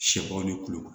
Sɛbaa ni kulukoro